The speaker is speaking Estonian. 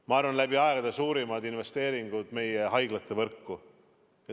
Ma arvan, et läbi aegade suurimad investeeringud tehakse meie haiglavõrku.